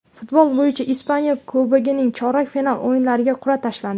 Futbol bo‘yicha Ispaniya Kubogining chorak final o‘yinlariga qur’a tashlandi.